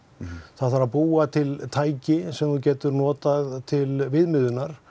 það þarf að búa til tæki sem þú getur notað til viðmiðunar